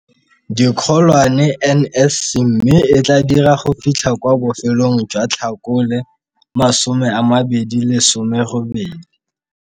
Dikgolwane NSC mme e tla dira go fitlha kwa bofelong jwa Tlhakole 2018.